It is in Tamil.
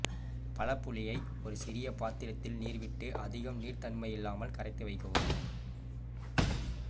பழப் புளியை ஒரு சிறிய பாத்திரத்தில் நீர் விட்டு அதிகம் நீர்த்தன்மையில்லாமல் கரைத்து வைக்கவும்